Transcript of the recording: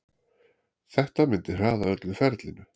Þetta myndi hraða öllu ferlinu.